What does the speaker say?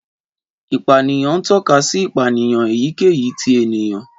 Ìpànìyàn ń tọ́ka sí ìpànìyàn èyíkéyìí ti ènìyàn.